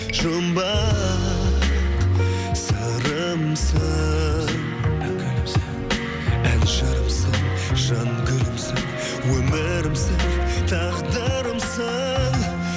жұмбақ сырымсың ән жырымсың жан гүлімсің өмірімсің тағдырымсың